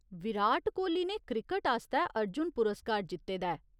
विराट कोहली ने क्रिकट आस्तै अर्जुन पुरस्कार जित्ते दा ऐ।